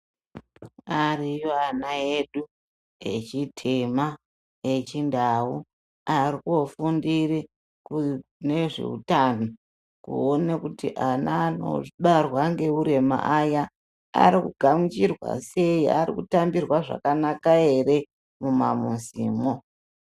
Variyo vana vedu vechitema yechindau varinkufundire kune nezvehutano kuona kuti ana anobarwa neuremu aya Ari kugamuchirwa sei nekutambirwa zvakanaka ere mumamuzimo.